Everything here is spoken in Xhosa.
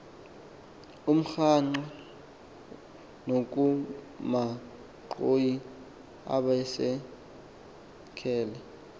okamgwangqa nokamanxhoyi abaesekele